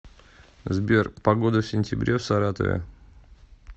сбер погода в сентябре в саратове